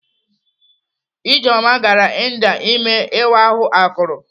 Ijeoma gara India ime ịwa ahụ akụrụ.